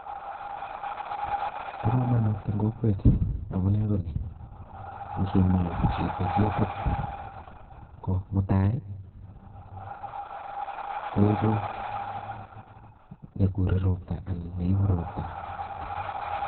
Bo kamanut eng kokwet amune ko ni, ngimin chito ketit ko mutai koeku nekure ropta anan neipu ropta.